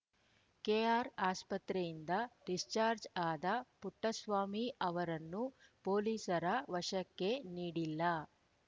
K R ಆಸ್ಪತ್ರೆಯಿಂದ discharge ಆದ ಪುಟ್ಟಸ್ವಾಮಿ ಅವರನ್ನು ಪೊಲೀಸರ ವಶಕ್ಕೆ ನೀಡಿಲ್ಲ